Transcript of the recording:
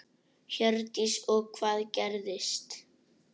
Hjördís: Og hvað gerðist?